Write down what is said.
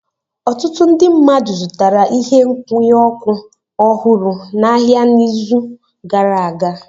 Ọtụtụ ndị mmadụ zụtara ihe nkwụnye ọkụ ọhụrụ n'ahịa n'izu gara aga.